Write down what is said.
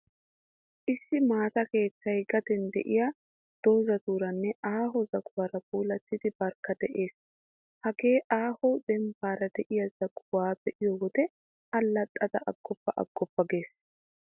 Issi maata keettay, gaden de'iyaa dozatuuranne aaho zaguwaara puulattidi barkka de'ees. Hagaa aaho dembbaara de'iyaa zaguwaa be'iyoo wode allaxxada aggoppa aggoppa gees.